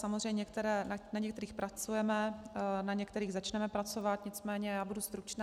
Samozřejmě na některých pracujeme, na některých začneme pracovat, nicméně já budu stručná.